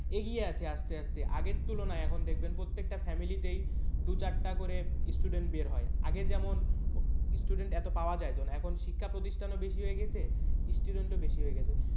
এগিয়ে আছে আস্তে আস্তে আগের তুলনায় এখন দেখবেন প্রত্যেকটা family তেই দু, চারটে করে student বের হয় আগে যেমন student এত পাওয়া যাইতো না এখন শিক্ষা প্রতিষ্ঠানও বেশি হয়ে গেছে student ও বেশি হয়ে গেছে।